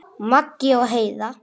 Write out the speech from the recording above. Maggi og Heiða.